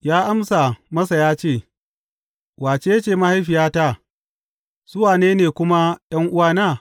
Ya amsa masa ya ce, Wace ce mahaifiyata, su wane ne kuma ’yan’uwana?